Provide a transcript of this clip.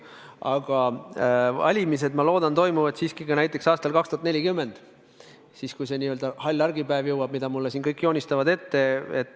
Aga valimised, ma loodan, toimuvad siiski ka näiteks aastal 2040, siis, kui jõuab kätte see n-ö hall argipäev, mida mulle siin kõik ette joonistavad.